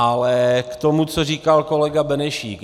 Ale k tomu, co říkal kolega Benešík.